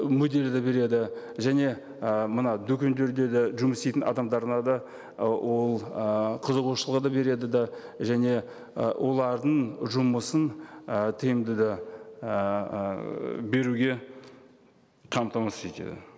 де береді және ы мына дүкендерде де жұмыс істейтін адамдарына да ы ол ы қызығушылығы да береді де және ы олардың жұмысын ы тиімді де ііі ыыы беруге қамтамасыз етеді